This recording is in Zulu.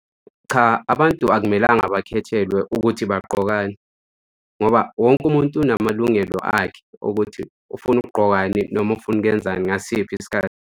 Cha, abantu akumelanga bakhethelwe ukuthi bagqokani, ngoba wonke umuntu unamalungelo akhe ukuthi ufuna ukgqokani noma ufuna ukwenzani ngasiphi isikhathi.